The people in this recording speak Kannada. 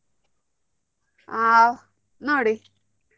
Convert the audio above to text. ಹಾ ನೋಡಿ.